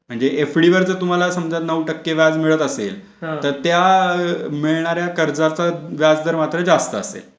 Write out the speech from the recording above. म्हणजे एफडी जर तुम्हाला समजा नऊ टक्के व्याज मिळत असेल तर त्या मिळणाऱ्या कर्जाचा व्याजदर मात्र जास्त असेल.